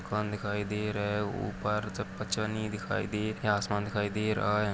मकान दिखाई दे रहा हैं ऊपर चकपचनी दिखाई दे रही आसमान दिखाई दे रहा हैं।